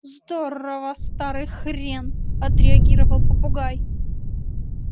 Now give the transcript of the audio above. здор-р-рово старый хрен отреагировал попугай